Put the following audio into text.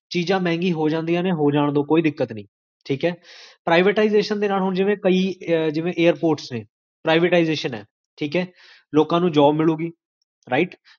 ਚੀਜਾਂ ਮੇਹ੍ਨ੍ਗੀਆਂ ਹੋਜਾਂਦੀਆਂ ਨੇ, ਹੋਜਾਨਦੋ, ਕੋਈ ਦਿੱਕਤ ਨੀ ਠੀਕ ਹੈprivatisation ਦੇ ਨਾਲ ਹੁਣ ਜਿਵੇਂ ਕਈ, ਜਿਵੇਂ airforce ਨੇ privatisation ਹੈ ਠੀਕ ਹੈ ਲੋਕਾਂ ਨੂੰ job ਮਿਲੂਗੀ right?